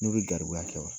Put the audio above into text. N'u bɛ garibuya kɛ wa